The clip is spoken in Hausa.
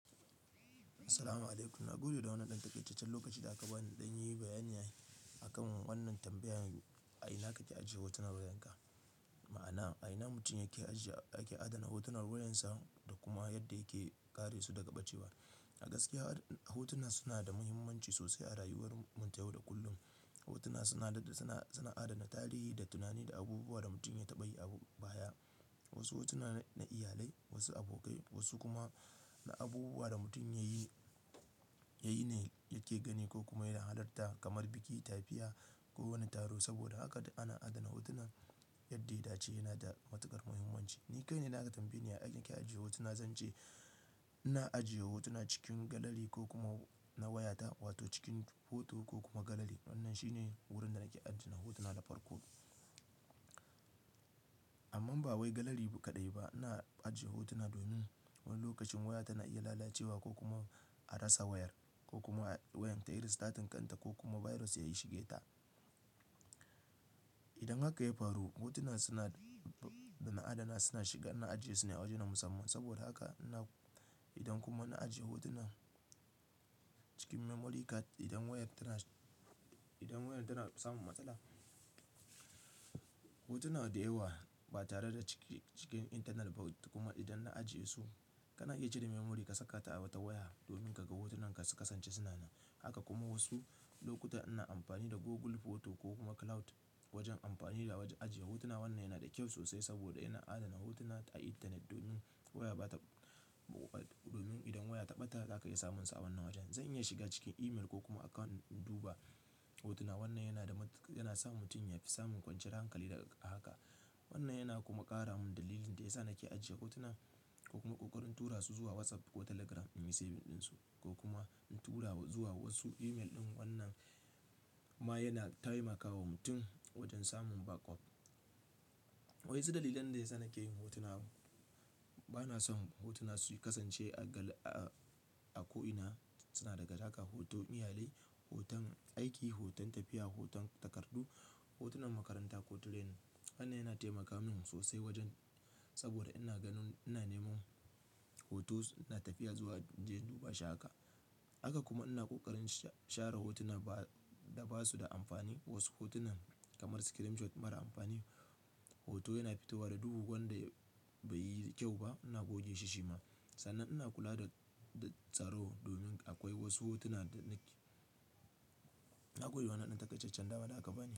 Assalamu'alaikum. Na gode da wannan ɗan taƙaitaccen lokacin da aka in ɗan yi bayani akan wannan tambayan a ina kake ajiye hotunan wayanka. Ma'ana a ina mutum yake ajiye, yake adana hotunan wayarsa da kuma yadda yake kare su daga ɓacewa. A gaskiya, hotuna suna da muhimmanci sosai a rayuwar mutum yau da kullum. Hotuna suna, suna, suna adana tarihi da tunani da abubuwa da mutum ya taɓa yi a baya. Wasu hotuna na iyalai, wasu abokai, wasu kuma na abubuwa da mutum ya yi, ya yi ne yake gani ko kuma yana halarta kamar biki, tafiya ko wani taro. Saboda haka ana adana hotuna yadda ya dace yana da matuƙar muhimmanci. Ni kai na da aka tambaye ni a ina kake ajiye hotuna, zan ce ina ajiye hotuna cikin galeri ko kuma na wayata, wato cikin hoto ko kuma galeri. Wannan shi ne wurin da nake ajje hotuna da farko. Amma ba wai galeri kaɗai ba, ina aje hotuna domin wani lokacin waya tana iya lalacewa ko kuma a rasa wayar ko kuma wayar ta yi restating kanta ko kuma virus ya yi shige ta. Idan haka ya faru, hotunan suna, suna adana suna shiga, ina ajiye su ne a waje na musamman. Saboda haka ina, idan kuma na ajiye hotuna cikin memory card, idan wayar tana, idan wayar tana samun matsala, hotuna da yawa ba tare da cikin, cikin internal ba kuma idan na ajiye su, kana iya cire memory ka saka ta a wata waya domin ka ga hotunan ka su kasance suna nan. Haka kuma wasu lokuta ina amfani da Google Photo ko kuma Cloud wajen amfani da wajen ajiye hotuna. Wannan yana da kyau sosai saboda ina adana hotuna a intanet domin waya ba ta, domin idan waya ta ɓata za ka iya samunsu a wannan wajen. Zan iya shiga cikin email ko kuma account in duba hotuna. Wannan yana sa matu, yana sa mutum ya fi samun kwanciyar hankali daga haka. Wannan yana kuma ƙara min dalilin da ya sa nake ajiye hotuna ko kuma ƙoƙarin tura su zuwa WhatsApp ko Telegram in yi saving ɗinsu ko kuma in tura zuwa wasu email ɗin. Wannan ma yana taimakawa mutum wajen samun backup. Wa ƴansu dalilan da ya sa nake yin hotuna bana son hotuna su kasance a gal, a ko'ina. Suna daga haka hoto iyalai, hoton aiki, hoton tafiya, hoton takaddu, hotunan makaranta ko training. Wannan yana taimaka min sosai wajen saboda ina ganin ina nemo hotons, ina tafiya zuwa in je in duba shi haka haka kuma ina ƙoƙarin share hotuna da basu da amfani. Wasu hotunan kamar screenshot mara amfani, hoto yana fito wa da duhu wanda bai yi kyau ba. Ina goge shi shima. Sannan ina kula da, da tsaro domin akwai wasu hotuna da na koyi wannan ɗan taƙaitaccen can daban da aka bani.